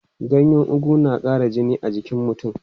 Ganyen ugu na ƙara jini a jikin mutum.